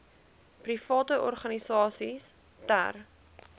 private organisasies ter